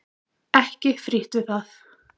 Ekki frítt við það!